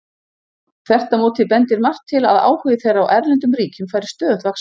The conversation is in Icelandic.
Þvert á móti bendir margt til að áhugi þeirra á erlendum ríkjum fari stöðugt vaxandi.